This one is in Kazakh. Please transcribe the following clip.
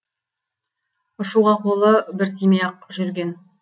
ұшуға қолы бір тимей ақ жүрген